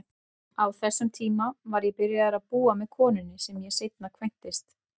Á þessum tíma var ég byrjaður að búa með konunni sem ég seinna kvæntist.